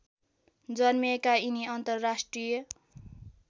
जन्मिएका यिनी अन्तर्राष्ट्रिय